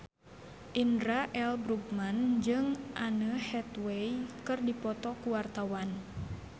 Indra L. Bruggman jeung Anne Hathaway keur dipoto ku wartawan